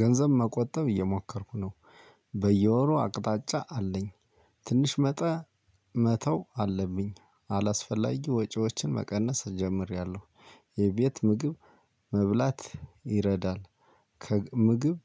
ገንዘብ መቆጠብ እየመኮርኩኝ ነው። በየወሩ አቅጣጫ አለኝ። ትንሽ መጠን መተው አለብኝ። አላስፈላጊ ወጭዎችን መቀነስ ጀሚሬለሁ። የቤት ምግብ መብላት ይረዳል። ከምግብ